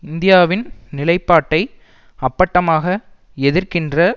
இந்தியாவின் நிலைப்பாட்டை அப்பட்டமாக எதிர்க்கின்ற